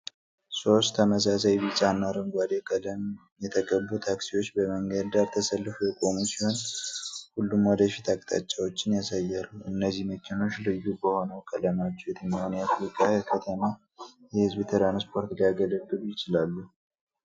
ሦስት ተመሳሳይ ቢጫና አረንጓዴ ቀለም የተቀቡ ታክሲዎች በመንገድ ዳር ተሰልፈው የቆሙ ሲሆን፤ ሁሉም ወደፊት አቅጣጫቸውን ያሳያሉ። እነዚህ መኪኖች ልዩ በሆነው ቀለማቸው የትኛውን የአፍሪካ ከተማ የሕዝብ ትራንስፖርት ሊያገለግሉ ይችላሉ?